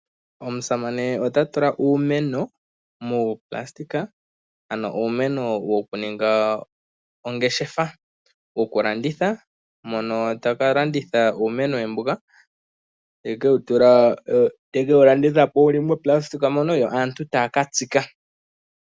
Aasanane yamwe ohaya tula uumeno moonayilona mbono woku ninga ongeshefa. Ohaya landitha uumeno wawo mbono wuli moonayilona, yo aantu taya katsika.